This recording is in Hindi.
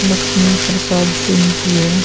लक्ष्मी प्रसाद सिंह की है।